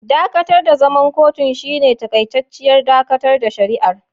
Dakatar da zaman kotun shine takaitacciyar dakatar da shari'ar.